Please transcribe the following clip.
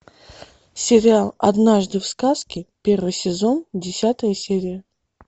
сериал однажды в сказке первый сезон десятая серия